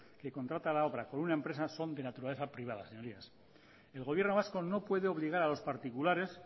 que contrata la obra con una empresa son de naturaleza privada señorías el gobierno vasco no puede obligar a los particulares